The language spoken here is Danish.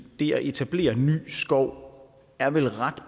det at etablere ny skov er vel ret